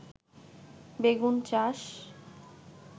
বেগুন চাষ